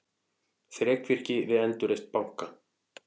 Þrekvirki við endurreisn banka